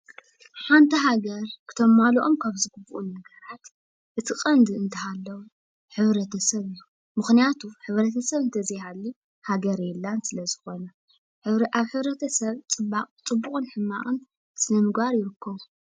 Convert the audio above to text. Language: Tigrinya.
ሓንቲ ሃገር ክተማልኦም ዝግበኦም እቲ ቀንዲ እንተሃለወ ሕብረተ ሰብ እዩ፡፡ ምክንያቱ ሕብረተ ሰብ እንተዘይሃልዩ ሃገር የላን ስለዝኮነ፣ ኣብ ሕብረተ ሰብ ፅቡቅን ሕማቅን ስነምግባር ይርከቡ፡፡